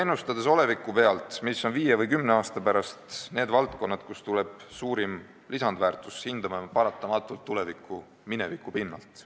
Ennustades oleviku pealt, mis on viie või kümne aasta pärast need valdkonnad, kust tuleb suurim lisandväärtus, hindame me paratamatult tulevikku mineviku pinnalt.